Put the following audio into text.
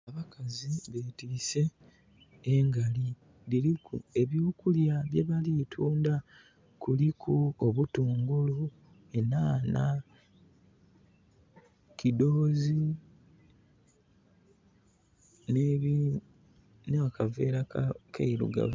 Abakazi betiise engali. Dhiliku eby'okulya byebali tunda. Kuliku obutungulu enhanha, kidhoozi, n'akaveera akairugavu.